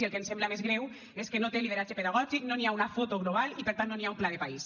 i el que em sembla més greu és que no té lideratge pedagògic no hi ha una foto global i per tant no hi ha un pla de país